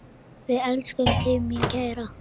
Við elskum þig, mín kæra.